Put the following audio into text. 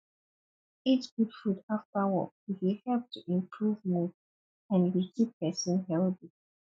eat good food after work e dey help to improve mood and e dey keep person healthy